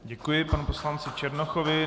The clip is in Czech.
Děkuji panu poslanci Černochovi.